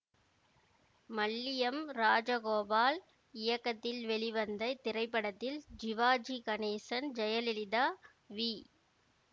மல்லியம் ராஜகோபால் இயக்கத்தில் வெளிவந்த இத்திரைப்படத்தில் ஜிவாஜி கணேசன் ஜெயலலிதா வி